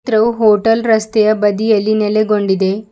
ಚಿತ್ರವು ಹೋಟೆಲ್ ರಸ್ತೆಯ ಬದಿಯಲ್ಲಿ ನೆಲೆಗೊಂಡಿದೆ.